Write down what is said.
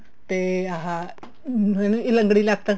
ਤੇ ਆਹ ਅਮ ਲੰਗੜੀ ਲੱਤ